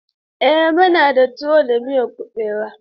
Eh, muna da tuwo da miyan kuɓewa.